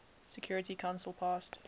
security council passed